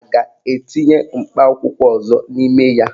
A ga-etinye mkpa akwụkwọ ọzọ n'ime ya?